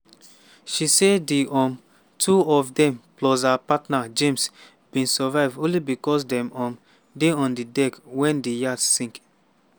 she say di um two of dem plus her partner james bin survive only becos dem um dey on di deck wen di yacht sink.